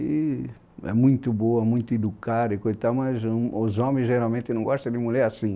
E é muito boa, muito educada e coi tal, mas em os homens geralmente não gostam de mulher assim.